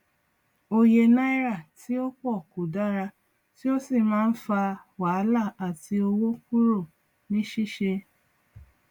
òye náírà tí ó pọ kò dára tí ó sì má ń fà wàhálà àti owó kúrò ní ṣíṣe